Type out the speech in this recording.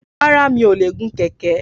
Rárá, mi ò lè gun kẹ̀kẹ́